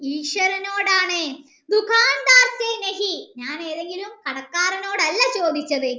ഈശ്വരനോടാണ് ഞാൻ ഏതെങ്കിലും കടക്കാരനോടല്ല ചോദിച്ചത്